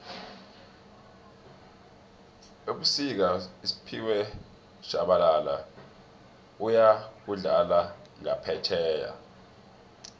fbusika usphiwe shabala uyokudlala ngaphefjheya